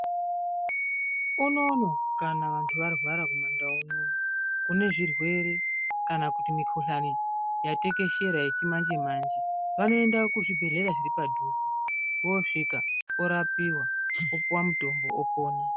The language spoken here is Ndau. Unoouno kana vanthu varwara kumaNdau uno kune zvirwere kana kuti mikhuhlani yatekeshera yechimanje manje vanoenda kuzvibhedhlera zviri padhuze voosvika vorapiwa vopuwa mutombo vopona.